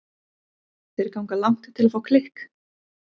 Þeir ganga langt til að fá klikk.